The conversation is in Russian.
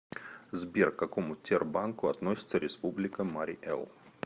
сбер к какому тербанку относится республика марий эл